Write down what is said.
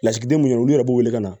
Lasigiden minnu yɛrɛ b'u wele ka na